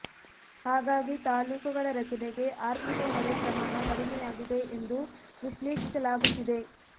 ಹಾಗಾಗಿ ತಾಲೂಕುಗಳ ರಚನೆಗೆ ಆರ್ಥಿಕ ಹೊರೆ ಪ್ರಮಾಣ ಕಡಿಮೆಯಾಗಿದೆ ಎಂದು ವಿಶ್ಲೇಷಿಸಲಾಗುತ್ತಿದೆ